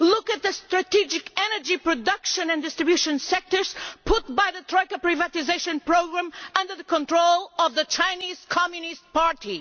Look at the strategic energy production and distribution sectors, put by the tracker privatisation programme under the control of the Chinese Communist Party.